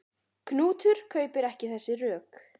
Knútur kaupir ekki þessi rök.